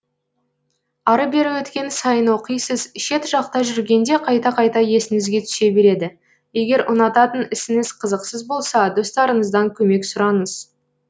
ары бері өткен сайын оқисыз шет жақта жүргенде қайта қайта есіңізге түсе береді егер ұнататын ісіңіз қызықсыз болса достарыңыздан көмек сұраңыз